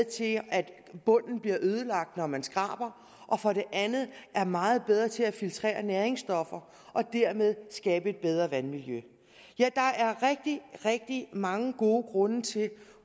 til at bunden bliver ødelagt når man skraber og for det andet er meget bedre til at filtrere næringsstoffer og dermed skabe et bedre vandmiljø ja der er rigtig rigtig mange gode grunde til